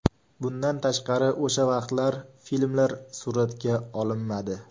Bundan tashqari o‘sha vaqtda filmlar suratga olinmadi.